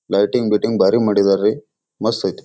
Lighting ಬಿಟಿಂಗ್ ಬಾರಿ ಮಾಡಿದ್ದಾರೆ ಮಸ್ತ್ ಅಯ್ತಿ.